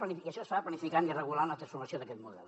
això es fa planificant i regulant la transformació d’aquest model